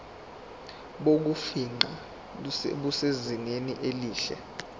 bokufingqa busezingeni elihle